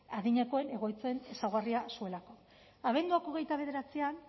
adinekoen egoitzen ezaugarria zuelako abenduak hogeita bederatzian